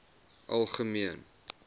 algemeen